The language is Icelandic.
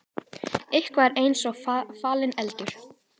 Eitthvað er eins og falinn eldur